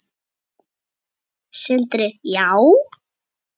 Sindri: Já?